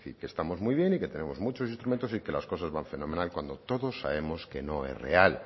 que estamos muy bien y que tenemos muchos instrumentos y que las cosas van fenomenal cuando todos sabemos que no es real